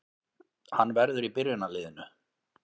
Hann verður í byrjunarliðinu